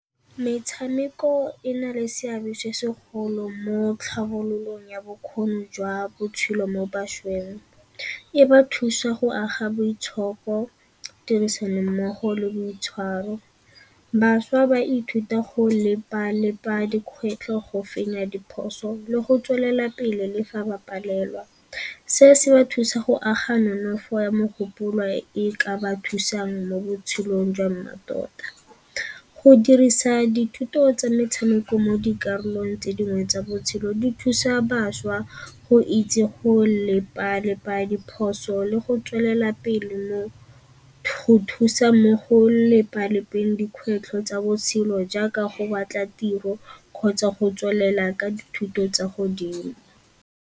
Metshameko e na le seabe se segolo mo tlhabololong ya bokgoni jwa botshelo mo bašweng. E ba thusa go aga boitshoko, tirisanommogo le boitshwaro. Bašwa ba ithuta go lepa-lepa dikgwetlho go fenya diphoso le go tswelela pele le fa ba palelwa. Se se ba thusa go aga nonofo ya mogopolo e ka ba thusang mo botshelong jwa mmatota. Go dirisa dithuto tsa metshameko mo dikarolong tse dingwe tsa botshelo di thusa bašwa go itse go lepa-lepa diphoso le go tswelela pele mo thusa mo go lepa-lepeng dikgwetlho tsa botshelo jaaka go batla tiro kgotsa go tswelela ka dithuto tsa godimo.